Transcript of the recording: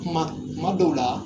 Kuma kuma dɔw la